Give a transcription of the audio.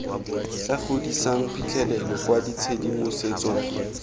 tla godisang phitlhelelo kwa tshedimosetsong